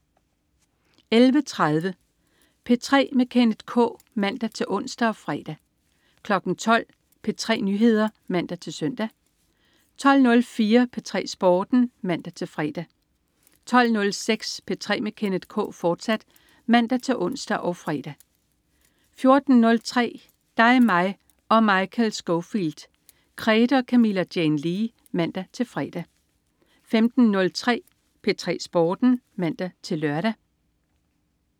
11.30 P3 med Kenneth K (man-ons og fre) 12.00 P3 Nyheder (man-søn) 12.04 P3 Sporten (man-fre) 12.06 P3 med Kenneth K, fortsat (man-ons og fre) 14.03 Dig, mig og Michael Scofield. Krede og Camilla Jane Lea (man-fre) 15.03 P3 Sporten (man-lør)